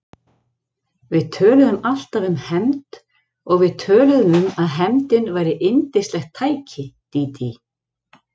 Við töluðum alltaf um hefnd og við töluðum um að hefndin væri yndislegt tæki, Dídí.